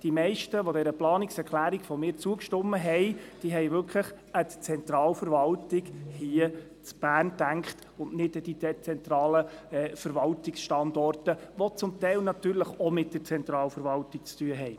Die meisten, die meiner Planungserklärung zugestimmt haben, haben wirklich an die Zentralverwaltung hier in Bern gedacht und nicht an die dezentralen Verwaltungsstandorte, die zum Teil natürlich auch mit der Zentralverwaltung zu tun haben.